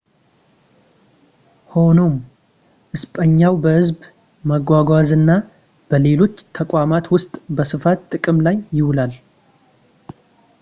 ሆኖም እስጳኛም በህዝብ መጓጓዣና በሌሎች ተቋማት ውስጥ በስፋት ጥቅም ላይ ይውላል